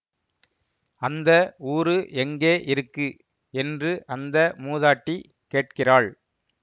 அந்த ஊரு எங்கே இருக்கு என்று அந்த மூதாட்டி கேட்கிறாள்